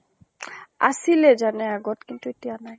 আছিলে জানে আগত, কিন্তু এতিয়া নাই।